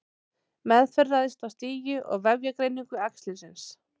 Meðferð ræðst af stigi og vefjagreiningu æxlisins.